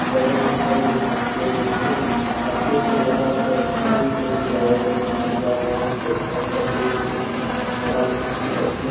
बगल मे ही आप देख सकते है एक छाते को लगाकर तीन टेबल लगाए गए हैं जो की आप वहां से वहां पर बैठ के आराम से पी सकते हैं।